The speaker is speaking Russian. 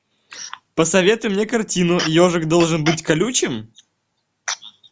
посоветуй мне картину ежик должен быть колючим